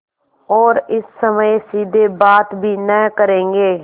और इस समय सीधे बात भी न करेंगे